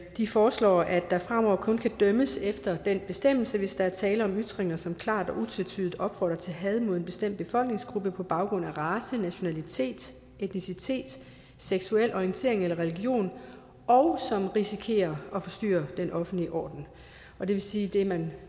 de foreslår at der fremover kun kan dømmes efter den bestemmelse hvis der er tale om ytringer som klart og utvetydigt opfordrer til had mod en bestemt befolkningsgruppe på baggrund af race nationalitet etnicitet seksuel orientering eller religion og som risikerer at forstyrre den offentlige orden og det vil sige at det man